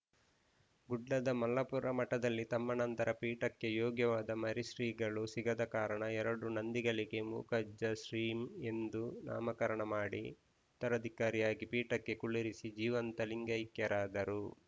ಗುಡ್ಡದ ಮಲ್ಲಾಪುರ ಮಠದಲ್ಲಿ ತಮ್ಮ ನಂತರ ಪೀಠಕ್ಕೆ ಯೋಗ್ಯವಾದ ಮರಿಶ್ರೀಗಳು ಸಿಗದ ಕಾರಣ ಎರಡು ನಂದಿಗಳಿಗೆ ಮೂಕಪ್ಪಜ್ಜ ಶ್ರೀ ಎಂದು ನಾಮಕರಣ ಮಾಡಿ ಉತ್ತರಧಿಕಾರಿಯಾಗಿ ಪೀಠಕ್ಕೆ ಕುಳ್ಳಿರಿಸಿ ಜೀವಂತ ಲಿಂಗೈಕ್ಯರಾದರು